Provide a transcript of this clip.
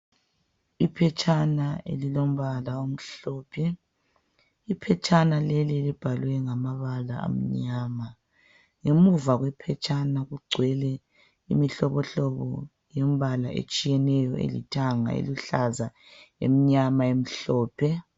Iphetshana elilombala omhlophe Iphetshana leli libhaliwe ngamabala amnyama ngemuva kwephetshana kugcwele imihlobohlobo yembala etshiyeneyo elithanga eluhlaza emnyama emhlophe